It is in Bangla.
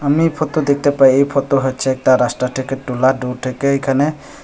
আমি ফতো দেখতে পাই এই ফতো হচ্ছে একটা রাস্তা থেকে তোলা দূর থেকে এখানে--